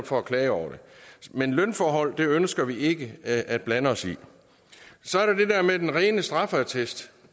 for at klage over det men lønforhold ønsker vi ikke at blande os i så er der det der med den rene straffeattest